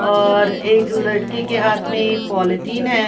और एक लड़के के हाथ में ही पॉलीथीन है ।